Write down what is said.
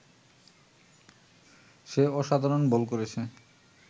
সে অসাধারণ বল করেছে